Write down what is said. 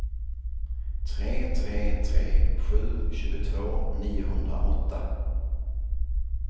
tre tre tre sju tjugotvå niohundraåtta